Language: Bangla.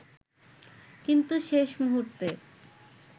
কিন্তু শেষ মুহূর্তে